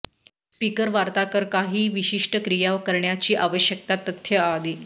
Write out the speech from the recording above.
speaker वार्ताकार काही विशिष्ट क्रिया करण्याची आवश्यकता तथ्य आधी